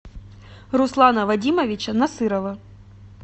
руслана вадимовича насырова